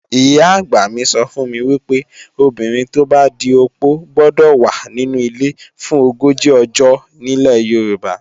Ìyá-àgbà mi sọ fún mi wípé, obìnrin tó bá di opó gbọ́dọ̀ wà nínu ilé fún ogójì ọjọ́ nílẹ̀ Yorùbá.